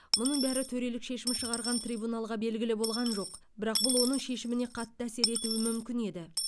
мұның бәрі төрелік шешім шығарған трибуналға белгілі болған жоқ бірақ бұл оның шешіміне қатты әсер етуі мүмкін еді